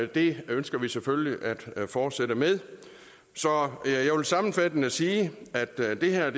det ønsker vi selvfølgelig at fortsætte med så jeg vil sammenfattende sige at det det her er